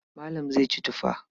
Malam zai ci tufa.